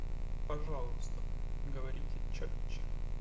пожалуйста говорите чётче